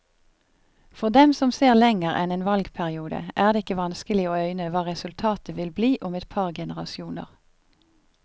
For dem som ser lenger enn en valgperiode, er det ikke vanskelig å øyne hva resultatet vil bli om et par generasjoner.